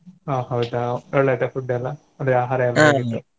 ಹಾ ಹೌದಾ ಒಳ್ಳೇ ಇತ್ತಾ food ಎಲ್ಲಾ ಅಂದ್ರೆ ಆಹಾರ ಎಲ್ಲಾ .